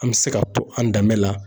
An bɛ se ka to an danbe la